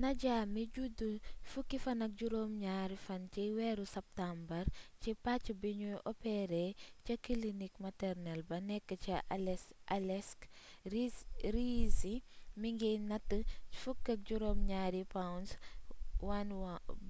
nadia mi judd 17 fan ci weeru sàttumbar ci pàc bignuy opéré ca kilinik maternel ba nekk ca aleisk riisi mingi natt 17 pounds